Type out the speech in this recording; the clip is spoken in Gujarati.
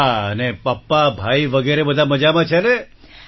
હા અને પપ્પા ભાઈ વગેરે બધા મજામાં છે ને